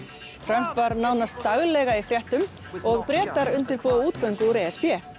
Trump var nánast daglega í fréttum og Bretar undirbúa útgöngu úr e s b